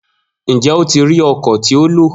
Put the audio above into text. Njẹ o ti ri ọkọ ti o lo?